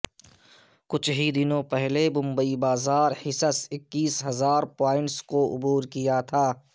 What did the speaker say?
کچھ ہی دنوں پہلے ممبئی بازار حصص اکیس ہزار پوائنٹس کو عبور کیا تھا